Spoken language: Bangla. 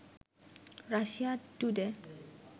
Russia today